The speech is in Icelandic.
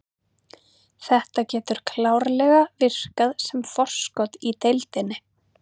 Þetta getur klárlega virkað sem forskot í deildinni.